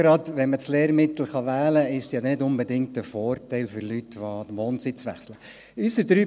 Denn wenn man das Lehrmittel wählen kann, ist es ja gerade auch für Menschen, die den Wohnsitz wechseln, nicht unbedingt ein Vorteil.